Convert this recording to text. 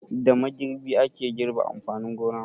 Da magirbi ake girbe amfanin gona.